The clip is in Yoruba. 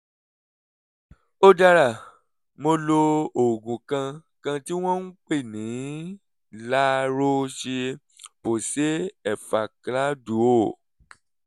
ó dára mo lo oògùn kan kan tí wọ́n ń pè ní la roche-posay effaclar duo